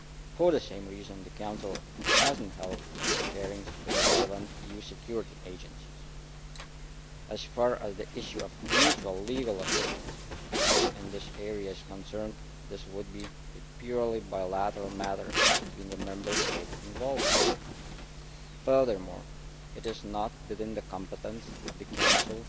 For the same reason the Council has not held hearings with the relevant EU security agencies. As far as the issue of mutual legal assistance in this area is concerned, this would be a purely bilateral matter between the Member States involved. Furthermore, it is not within the competence of the Council